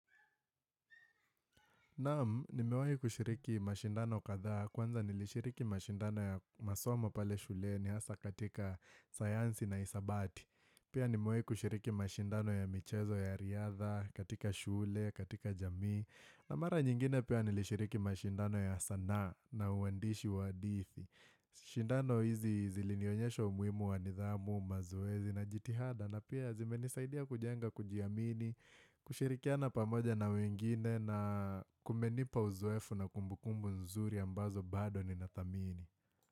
Naam, nimewahi kushiriki mashindano kadhaa, kwanza nilishiriki mashindano ya masomo pale shule ni hasa katika sayanzi na hisabati. Pia nimewahi kushiriki mashindano ya michezo ya riadha, katika shule, katika jamii. Na mara nyingine pia nilishiriki mashindano ya sanaa na uhandishi wa hadithi. Shindano hizi zilinionyesha umuhimu wanidhamu, mazoezi na jitihada. Na pia zime nisaidia kujenga kujiamini, kushirikiana pamoja na wengine na kumenipa uzowefu na kumbukumbu nzuri ambazo bado ni nadhamini.